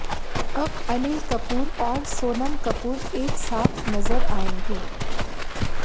अब अनिल कपूर और सोनम कपूर एक साथ नजर आएंगे